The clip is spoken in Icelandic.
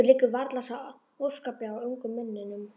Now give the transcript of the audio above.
Ykkur liggur varla svo óskaplega á, ungum mönnunum.